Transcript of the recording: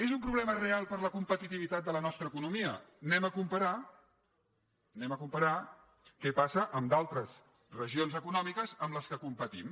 és un problema real per a la competitivitat de la nostra economia anem a comparar què passa amb d’altres regions econòmiques amb les quals competim